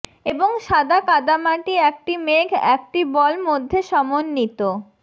এবং সাদা কাদামাটি একটি মেঘ একটি বল মধ্যে সমন্বিত